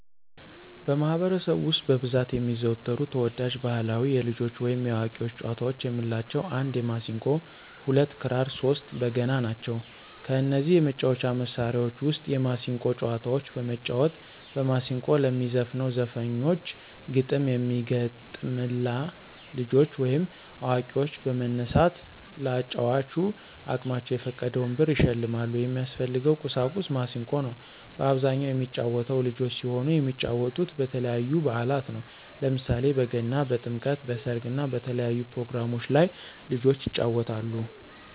በማህበረሰቡ ውስጥ በብዛት የሚዘወተሩ ተወዳጅ ባህላዊ የልጆች ወይም የአዋቂዎች ጨዋታዎች የምንላቸው 1 የማሲንቆ 2 ክራር 3 በገና ናቸው። ከነዚህ የመጫወቻ መሣሪያዎች ውስጥ የማሲንቆን ጨዋታዎች በመጫወት በማስንቆ ለሚዘፍነው ዘፋኞች ግጥም የሚገጠምላ ልጆች ወይም አዋቂዎች በመነሳት ለአጫዋቹ አቅማቸውን የፈቀደውን ብር ይሸልማሉ። የሚያስፈልገው ቁሳቁስ ማሲንቆ ነው። በአብዛኛው የሚጫወተው ልጆች ሲሆኑ የሚጫወቱት በተለያዩ በአላት ነው። ለምሳሌ በገና፣ በጥምቀት፣ በሰርግ እና በተለያዩ ፕሮግራሞች ላይ ልጆች ይጫወታሉ።